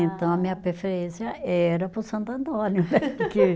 Então a minha preferência era para o Santo Antônio.